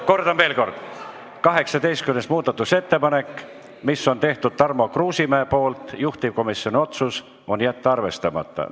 Kordan veel kord: 18. muudatusettepanek, mis on Tarmo Kruusimäe tehtud, juhtivkomisjoni otsus on jätta see arvestamata.